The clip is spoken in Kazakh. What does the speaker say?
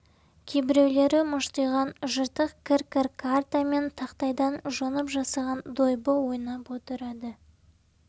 кейбіреулері мұжтиған жыртық кір-кір карта мен тақтайдан жонып жасаған дойбы ойнап отырады